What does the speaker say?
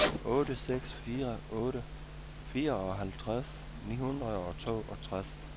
otte seks fire otte fireoghalvtreds ni hundrede og toogtres